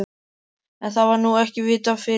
En, það var nú ekki vitað fyrirfram!